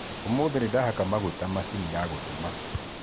ũmũthĩ nĩndahaka maguta macini ya gũtuma